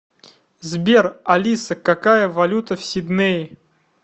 сбер алиса какая валюта в сиднее